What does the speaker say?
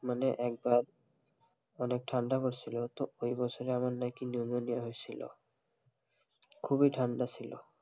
মানে একবার অনেক ঠান্ডা পরছিলো তো ওই বছরই আমার নাকি নিউমোনিয়া হইছিলো খুব ই ঠান্ডা ছিলো,